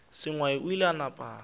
sengwai o ile a napa